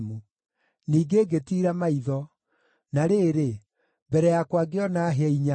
Ningĩ ngĩtiira maitho, na rĩrĩ, mbere yakwa ngĩona hĩa inya!